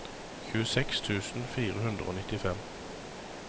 tjueseks tusen fire hundre og nittifem